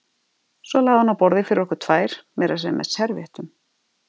Svo lagði hún á borðið fyrir okkur tvær, meira að segja með servíettum.